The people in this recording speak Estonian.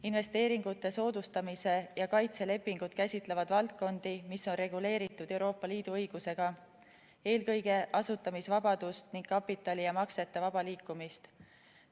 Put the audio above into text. Investeeringute soodustamise ja kaitse lepingud käsitlevad valdkondi, mis on reguleeritud Euroopa Liidu õigusega, eelkõige asutamisvabadust ning kapitali ja maksete vaba liikumist.